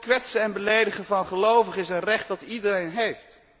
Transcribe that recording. Kwetsen en beledigen van gelovigen is een recht dat iedereen heeft.